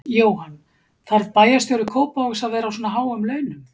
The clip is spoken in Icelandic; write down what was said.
Jóhann: Þarf bæjarstjóri Kópavogs að vera á svona háum launum?